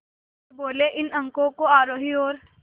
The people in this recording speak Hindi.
वे बोले इन अंकों को आरोही और